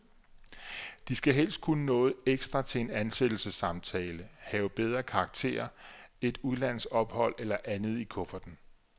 De skal helst kunne noget ekstra til en ansættelsessamtale, have bedre karakterer, et udlandsophold eller andet i kufferten.